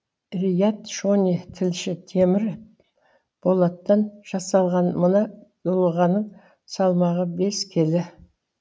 риат шони тілші темір болаттан жасалған мына дулығаның салмағы бес келі